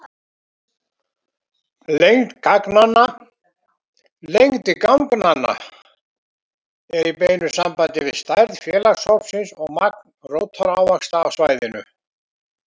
Lengd ganganna er í beinu sambandi við stærð félagshópsins og magn rótarávaxta á svæðinu.